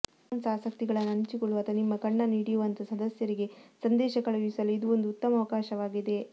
Commons ಆಸಕ್ತಿಗಳನ್ನು ಹಂಚಿಕೊಳ್ಳುವ ಅಥವಾ ನಿಮ್ಮ ಕಣ್ಣನ್ನು ಹಿಡಿಯುವಂತಹ ಸದಸ್ಯರಿಗೆ ಸಂದೇಶ ಕಳುಹಿಸಲು ಇದು ಒಂದು ಉತ್ತಮ ಅವಕಾಶವಾಗಿದೆ